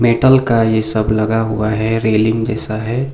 Metal का ये सब लगा हुआ है रेलिंग जैसा है।